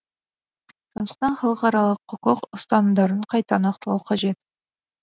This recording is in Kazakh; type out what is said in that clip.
сондықтан халықаралық құқық ұстанымдарын қайта нақтылау қажет